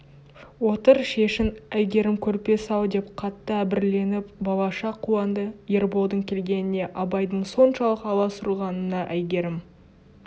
отыр шешін әйгерім көрпе сал деп қатты әбігерленіп балаша қуанды ерболдың келгеніне абайдың соншалық аласұрғанына әйгерім